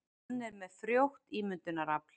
Hann er með frjótt ímyndunarafl.